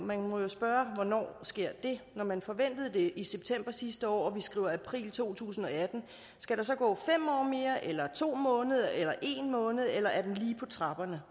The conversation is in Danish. man må jo spørge hvornår det sker når man forventede det i september sidste år og vi skriver april to tusind og atten skal der så gå fem år mere eller to måneder eller en måned eller er den lige på trapperne